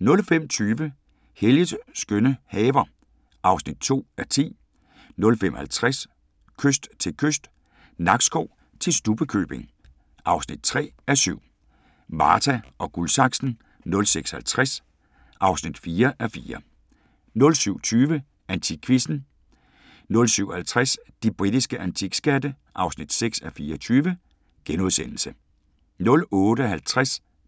05:20: Helges skønne haver (2:10) 05:50: Kyst til kyst – Nakskov til Stubbekøbing (3:7) 06:50: Marta & Guldsaksen (4:4) 07:20: AntikQuizzen 07:50: De britiske antikskatte (6:24)* 08:50: